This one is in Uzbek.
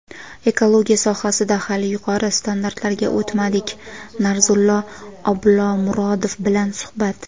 "Ekologiya sohasida hali yuqori standartlarga o‘tmadik" - Narzullo Oblomurodov bilan suhbat.